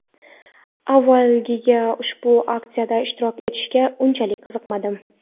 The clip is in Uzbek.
Avvaliga ushbu aksiyada ishtirok etishga unchalik qiziqmadim.